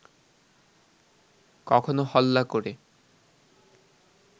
কখনো হল্লা ক’রে